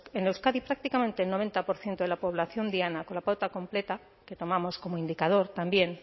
en euskadi prácticamente el noventa por ciento de la población diana con la pauta completa que tomamos como indicador también